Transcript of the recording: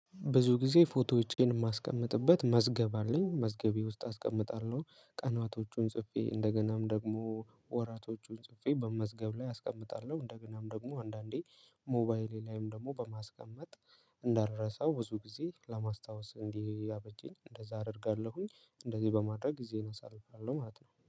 ብዙ ጊዜ ፎቶዎቼን የማስቀምጥበት መዝገብ አለኝ መዝገቤ ውስጥ አስቀምጣለሁ ቀናቶቹን ጽፌ እንደገናም ደግሞ ወራቶቹን ጽፌ በመዝገብ ላይ አስቀምጣለሁ። እንደገናም ደግሞ አንዳንዴ ሞባይሌ ላይም ደግሞ በማስቀመጥ እንዳልረሳው ብዙ ጊዜ ለማስታወስ እንዲያበጂኝ እንደዛ አደርጋለሁኝ። እንደዚህ በማድረግ ጊዜን አሳልፋለሁ ማለት ነው